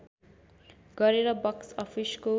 गरेर बक्स अफिसको